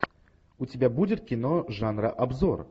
у тебя будет кино жанра обзор